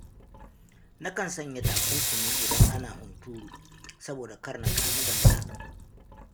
Na kan sanya takunkumi idan ana hunturu, saboda kar na kamu da mura.